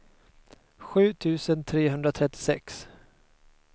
sju tusen trehundratrettiosex